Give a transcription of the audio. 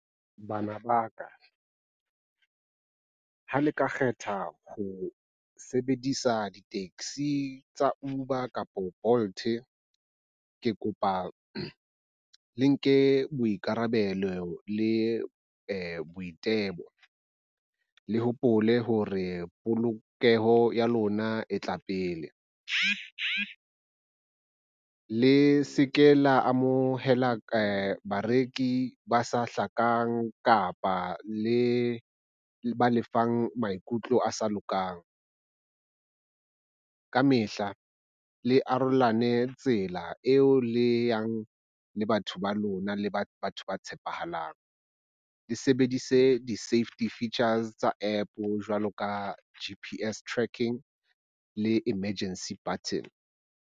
Bana ba ka, ha le ka kgetha ho sebedisa di taxi tsa Uber kapo Bolt ke kopa le nke boikarabelo le boitelo. Le hopole hore polokeho ya lona e tla pele, le seke la amohela bareki ba sa hlakang kapa le ba le fang maikutlo a sa lokang. Ka mehla le arolelane tsela eo le yang le batho ba lona le batho ba tshepahalang, le sebedise di-safety features tsa App jwalo ka G_P_S Tracking le emergency button.